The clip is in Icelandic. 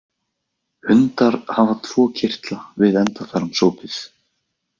Hundar hafa tvo kirtla við endaþarmsopið.